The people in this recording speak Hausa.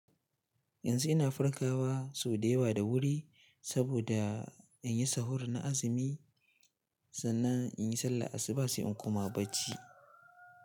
Yanzu ina farkawa sau da yawa da wuri saboda in yi sahur na azumi. Sannan in yi sallah, asuba sai in kuma bacci.